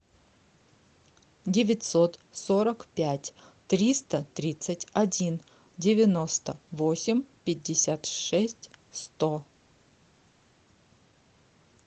девятьсот сорок пять триста тридцать один девяносто восемь пятьдесят шесть сто